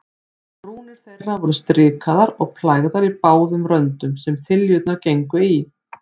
Brúnir þeirra voru strikaðar og plægðar í báðum röndum, sem þiljurnar gengu í.